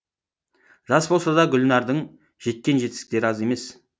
жас болса да гүлнардың жеткен жетістіктері аз емес